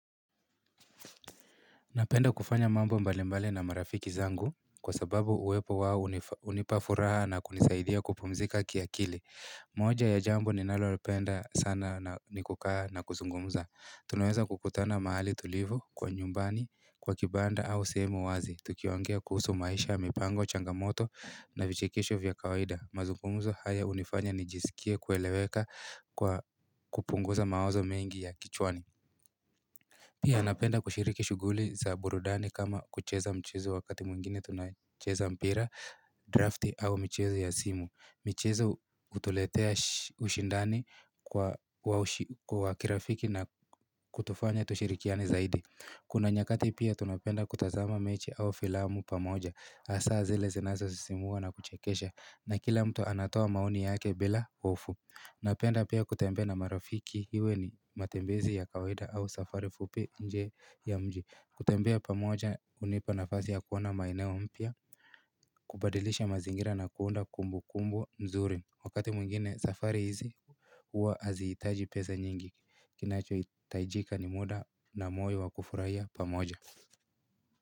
Napenda kufanya mambo mbali mbali na marafiki zangu kwa sababu uwepo wao unipa furaha na kunisaidia kupumzika kiakili. Moja ya jambo ninalopenda sana na ni kukaa na kuzungumza. Tunaweza kukutana mahali tulivu, kwa nyumbani, kwa kibanda au sehemu wazi. Tukiongea kuhusu maisha, mipango, changamoto na vichekesho vya kawaida. Mazungumzo haya unifanya nijisikie kueleweka kwa kupunguza mawazo mengi ya kichwani. Pia napenda kushiriki shughuli za burudani kama kucheza mchezo wakati mwingine tunacheza mpira, drafti au mchezo ya simu michezo utuletea ushindani kwa kirafiki na kutufanya tushirikiane zaidi Kuna nyakati pia tunapenda kutazama mechi au filamu pamoja hasa zile zinazo sisimua na kuchekesha na kila mtu anatoa maoni yake bila hofu Napenda pia kutembea na marafiki hiwe ni matembezi ya kawaida au safari fupi nje ya mji kutembea pamoja unipa nafasi ya kuona maeneo mpya kubadilisha mazingira na kuunda kumbu kumbu nzuri Wakati mwingine safari hizi huwa hazitaji pesa nyingi kinacho itaijika ni muda na moyo wa kufurahia pamoja.